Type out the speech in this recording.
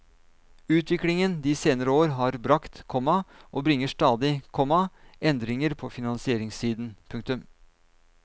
Utviklingen de senere år har bragt, komma og bringer stadig, komma endringer på finansieringssiden. punktum